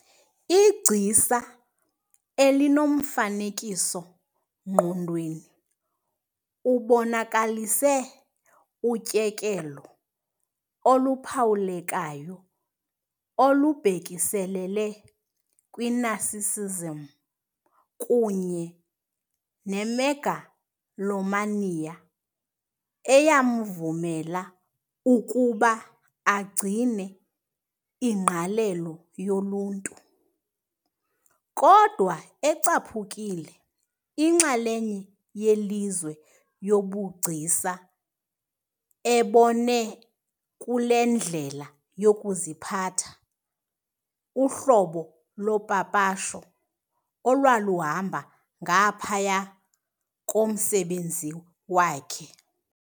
Igcisa elinomfanekiso-ngqondweni, ubonakalise utyekelo oluphawulekayo olubhekiselele kwi-narcissism kunye ne-megalomania eyamvumela ukuba agcine ingqalelo yoluntu, kodwa ecaphukile inxalenye yelizwe lobugcisa, ebone kule ndlela yokuziphatha uhlobo lopapasho olwaluhamba ngaphaya komsebenzi wakhe.